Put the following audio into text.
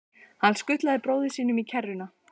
Hann skutlaði bróður sínum í kerruna.